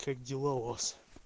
как дела у вас